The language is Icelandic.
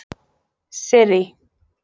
Sirrý